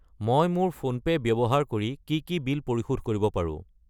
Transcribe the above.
মই মোৰ ফোনপে' ব্যৱহাৰ কৰি কি কি বিল পৰিশোধ কৰিব পাৰোঁ?